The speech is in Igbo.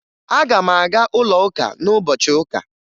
Aga m aga ụlọụka n'ụbọchị ụka